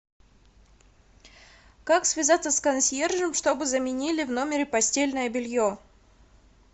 как связаться с консьержем чтобы заменили в номере постельное белье